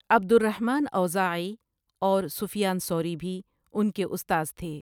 عبد الرحمن اوزاعی اور سفیان ثوری بھی ان کے استاذ تھے۔